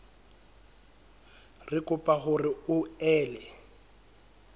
re kopa hore o ele